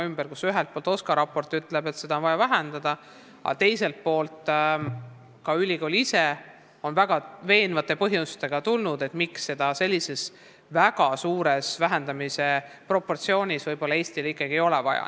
Ühelt poolt ütleb OSKA raport, et seda õpet on vaja vähendada, aga teiselt poolt on ülikool ise toonud väga veenvaid põhjuseid, miks võib-olla ikkagi väga suurt vähendamise proportsiooni Eestile vaja ei ole.